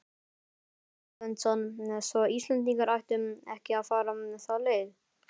Ásgeir Erlendsson: Svo Íslendingar ættu ekki að fara þá leið?